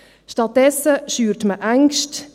Stattdessen schürt man Ängste.